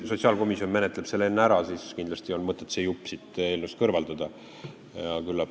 Kui sotsiaalkomisjon menetleb selle enne ära, siis kindlasti on mõtet see jupp siit eelnõust kõrvaldada.